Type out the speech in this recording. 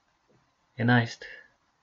Enajst!